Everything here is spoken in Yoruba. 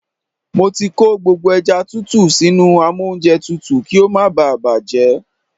Mo ti kó gbogbo ẹja tútù sínú amóúnjẹtutù kí ó má bá à bàjẹ́.